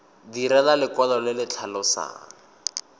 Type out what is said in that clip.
direlwa lekwalo le le tlhalosang